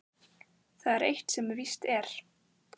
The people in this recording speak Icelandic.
Það er eitt sem víst er.